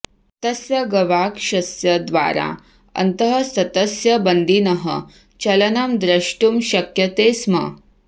तस्य गवाक्षस्य द्वारा अन्तःस्थस्य बन्दिनः चलनं द्रष्टुं शक्यते स्म